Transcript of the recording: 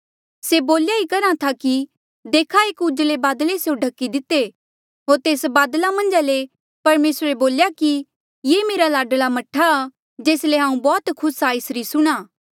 से बोल्या ई करहा था कि देखा एक उजले बादले स्यों ढखी दिते होर तेस बादला मन्झा ले परमेसरे बोल्या कि ये मेरा लाडला मह्ठा आ जेस ले हांऊँ बौह्त खुस आ एसरी सुणां